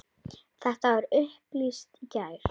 Þetta var upplýst í gær.